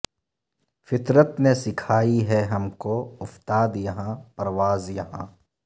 فطرت نے سکھائی ہے ہم کو افتاد یہاں پرواز یہاں